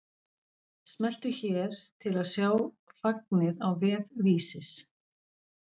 Smelltu hér til að sjá fagnið á vef Vísis